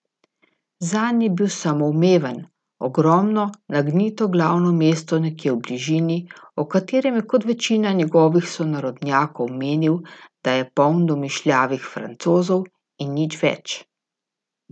Zanj je bil samoumeven, ogromno, nagnito glavno mesto nekje v bližini, o katerem je kot večina njegovih sonarodnjakov menil, da je poln domišljavih Francozov in nič več.